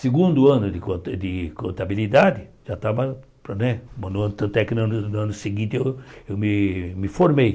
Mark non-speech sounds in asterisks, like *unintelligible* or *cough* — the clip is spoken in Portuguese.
Segundo ano de conta de contabilidade, já estava né *unintelligible* no ano no ano seguinte eu eu me me formei.